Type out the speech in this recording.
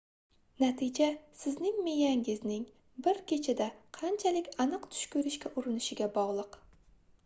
natija sizning miyangizning bir kechada qanchalik aniq tush koʻrishga urinishiga bogʻliq